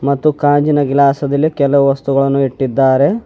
ಮತ್ತು ಕಾಂಜಿನ ಗಿಲಾಸ್ದಲ್ಲಿ ಕೆಲವು ವಸ್ತುಗಳನ್ನು ಇಟ್ಟಿದ್ದಾರೆ.